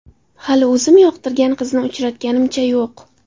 Hali o‘zim yoqtirgan qizni uchratganimcha yo‘q.